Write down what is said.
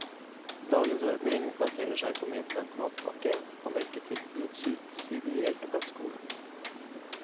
Dagens ordning baserer seg på medbragt matpakke og melketilbud subsidiert av skolen.